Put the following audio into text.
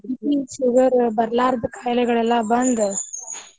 BP sugar ಬರ್ಲಾರ್ದ್ ಖಾಯಿಲೆಗಳೆಲ್ಲಾ ಬಂದ್ .